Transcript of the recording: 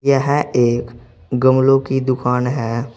यह एक गमलो की दुकान है।